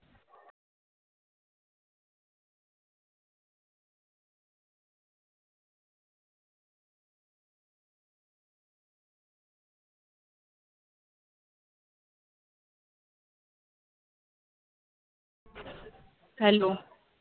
Hello